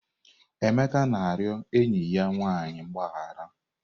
Emeka na-arịọ enyi ya nwanyị mgbaghara.